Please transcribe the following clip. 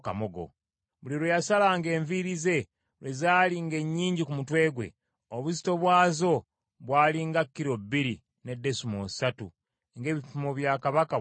Buli lwe yasalanga enviiri ze, lwe zali ng’ennyingi ku mutwe gwe, obuzito bw’azo bw’ali nga kilo bbiri ne desimoolo ssatu ng’ebipimo bya kabaka bwe byali.